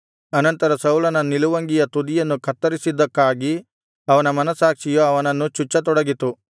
ಅನಂತರ ಸೌಲನ ನಿಲುವಂಗಿಯ ತುದಿಯನ್ನು ಕತ್ತರಿಸಿದ್ದಕ್ಕಾಗಿ ಅವನ ಮನಸ್ಸಾಕ್ಷಿಯು ಅವನನ್ನು ಚುಚ್ಚತೊಡಗಿತು